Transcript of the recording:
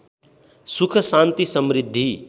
सुख शान्ति समृद्धि